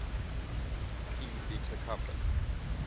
phi beta kappa